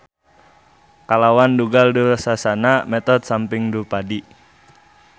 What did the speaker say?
Kalawan dugal Dursasana metot samping Drupadi